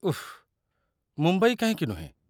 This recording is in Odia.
ଉଃ, ମୁମ୍ବାଇ କାହିଁକି ନୁହେଁ?